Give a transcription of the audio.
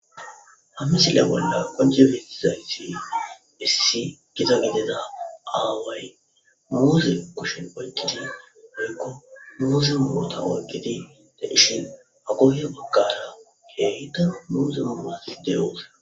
ha misile bolla qonjefetizayssi issi giza gidida aaway muuzi kushin oyqqidi hoykko muuzi mota oyqidi da dhishin ha gohiyo baggata keeyda muuzuma uussi deyoos